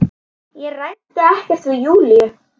Ég ræddi ekkert við Júlíu.